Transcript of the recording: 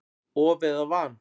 Of eða van?